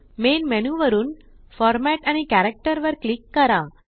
main menu वरुन format आणि character वर क्लिक करा